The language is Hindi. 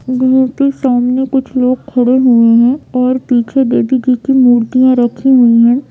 मूर्ति सामने कुछ लोग खड़े हुए है और पीछे देवी जी की मूर्तियाँ रखी हुई हैं।